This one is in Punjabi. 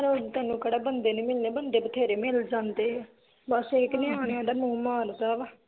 ਪਰ ਤੈਨੂੰ ਕੇਹੜਾ ਬੰਦੇ ਨੀ ਮਿਲਨੇ ਬਣਦੇ ਬਥੇਰੇ ਮਿਲ ਜਾਂਦੇ ਆ ਬਸ ਇਹ ਕੇ ਨਿਆਣਿਆਂ ਦਾ ਮੋਹ ਮਾਰਦਾ ਵਾ